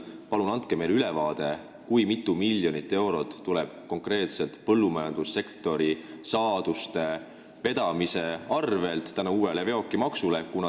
Palun andke meile ülevaade, kui mitu miljonit eurot tuleb konkreetselt põllumajandussektori saaduste vedamise arvel uue veokimaksu tõttu.